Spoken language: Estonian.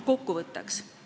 Kokkuvõtteks.